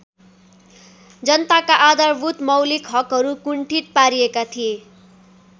जनताका आधारभूत मौलिक हकहरू कुण्ठित पारिएका थिए।